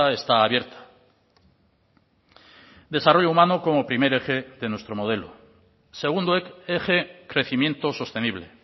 está abierta desarrollo humano como primer eje de nuestro modelo segundo eje crecimiento sostenible